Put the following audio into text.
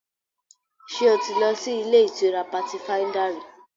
Ṣé o ti lọ sí ilé-ìtura Patifáíńdà rí?